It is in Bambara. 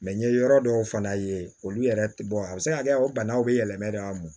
n ye yɔrɔ dɔw fana ye olu yɛrɛ bɔ a bɛ se ka kɛ o banaw bɛ yɛlɛmɛ de an mɔ